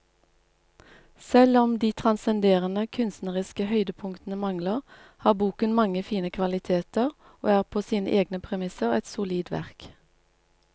Selv om de transcenderende kunstneriske høydepunktene mangler, har boken mange fine kvaliteter og er på sine egne premisser et solid verk.